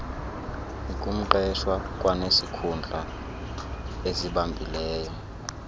ngumqeshwa kwanesikhundla asibambileyo